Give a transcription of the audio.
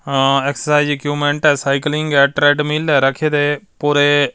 ਆ exercise equipment ਹੈ cycling ਹੈ ਟਰੇਂਡ ਮਿਲ ਹੈ ਰੱਖੇ ਨੇ ਪੂਰੇ --